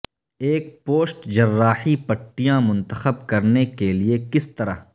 ایک پوسٹ جراحی پٹیاں منتخب کرنے کے لئے کس طرح